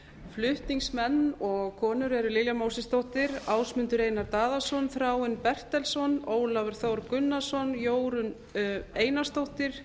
flutningsmenn og konur eru lilja mósesdóttir ásmundur einar daðason þráinn bertelsson ólafur þór gunnarsson jórunn einarsdóttir